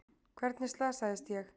Hvernig slasaðist ég?